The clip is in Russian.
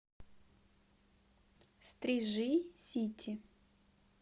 стрижи сити